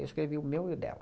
Eu escrevi o meu e o dela.